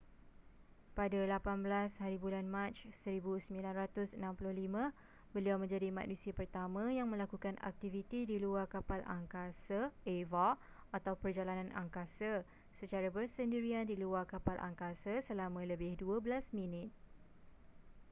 pada 18hb mac 1965 beliau menjadi manusia pertama yang melakukan aktiviti di luar kapal angkasa eva atau perjalanan angkasa” secara bersendirian di luar kapal angkasa selama lebih dua belas minit